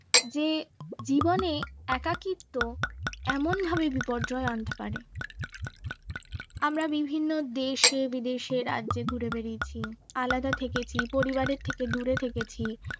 যে জীবনে একাকীত্ব এমন এমনভাবে বিপর্যয় আনতে পারে আমরা বিভিন্ন দেশে-বিদেশে রাজ্যে ঘুরে বেরিয়েছি আলাদা থেকেছি পরিবারের থেকে দূরে থেকেছি